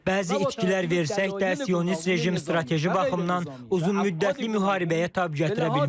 Bəzi itkilər versək də sionist rejim strateji baxımdan uzunmüddətli müharibəyə tab gətirə bilməz.